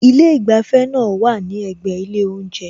Ilé ìgbafẹ́ náà wá à ní ẹ̀gbẹ́ ilé oúnjẹ